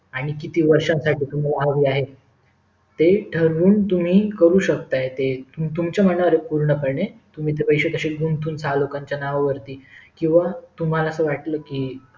आणि किती वर्षासाठी हवे आहे ते तुमि ठरून करू शेकताय ते तुमच्या मनावर आहे पूर्ण पणे तुम्ही ते पैसे कशे गुतंवून चार लोकांच्या नावावरती किंवा तुम्हाला असं वाटलं कि